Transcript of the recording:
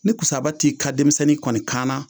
Ni kusaba t'i ka denmisɛnnin kɔni kanna